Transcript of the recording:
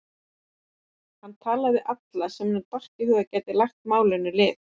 Hann talar við alla sem honum dettur í hug að geti lagt málinu lið.